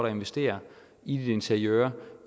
at investere i dit interiør